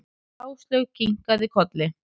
Áslaug kinkaði kolli.